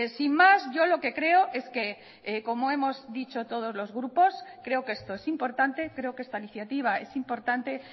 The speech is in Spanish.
sin más yo lo que creo es que como hemos dicho todos los grupos creo que esto es importante creo que esta iniciativa es importante